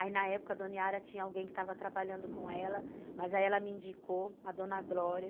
Aí na época a dona Yara tinha alguém que estava trabalhando com ela, mas aí ela me indicou, a dona Glória.